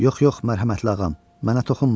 Yox, yox, mərhəmətli ağam, mənə toxunma.